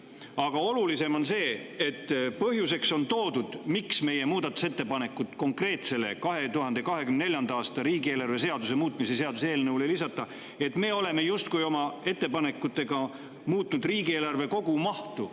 Aga olulisem on see, et põhjuseks, miks meie muudatusettepanekuid konkreetse 2024. aasta riigieelarve seaduse muutmise seaduse eelnõu kohta ei lisata, on toodud, et me oleme justkui oma ettepanekutega muutnud riigieelarve kogumahtu.